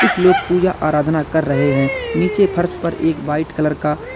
कुछ लोग पूजा आराधना कर रहे हैं नीचे फर्श पर एक वाइट कलर का--